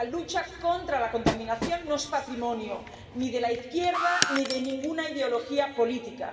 La lucha contra la contaminación no es patrimonio ni de la izquierda ni de ninguna ideología política.